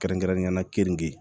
Kɛrɛnkɛrɛnnenyala kenige